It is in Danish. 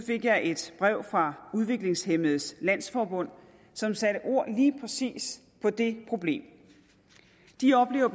fik jeg et brev fra udviklingshæmmedes landsforbund som satte ord lige præcis på det problem de oplever